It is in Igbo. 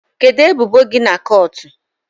Kedu ebubo gi na kọọtụ?